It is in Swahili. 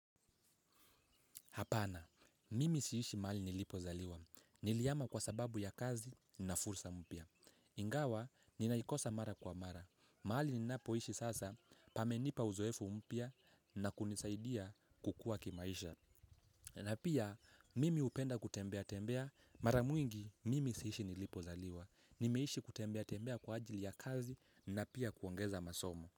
Hapana, mimi siishi mahali nilipo zaliwa. Nilihama kwa sababu ya kazi na fursa mpya. Ingawa, ninaikosa mara kwa mara. Mahali ninapoishi sasa, pamenipa uzoefu mpya na kunisaidia kukua kimaisha. Na pia, mimi upenda kutembea tembea mara mwingi, mimi siishi nilipo zaliwa. Nimeishi kutembea tembea kwa ajili ya kazi na pia kuongeza masomo.